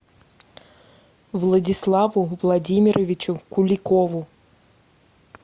владиславу владимировичу куликову